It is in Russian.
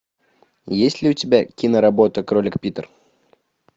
есть ли у тебя киноработа кролик питер